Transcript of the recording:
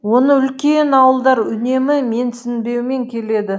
оны үлкен ауылдар үнемі менсінбеумен келеді